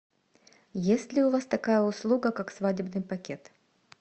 есть ли у вас такая услуга как свадебный пакет